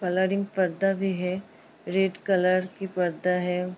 Colouring पर्दा भी है। रेड कलर की पर्दा है।